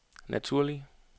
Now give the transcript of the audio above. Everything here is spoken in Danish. naturlig